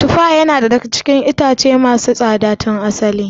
Tufa yana daga cikin ƴaƴan itatuwa masu tsada tun asali.